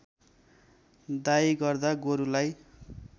दाइँ गर्दा गोरुलाई